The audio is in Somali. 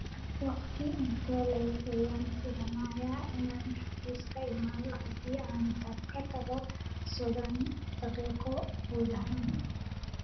Waqti intee le'eg ayaan filayaa inaan xafiiska imaado haddii aan ka tago soddon daqiiqo gudahood?